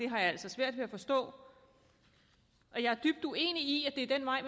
har jeg altså svært ved at forstå og jeg er dybt uenig i at det er den vej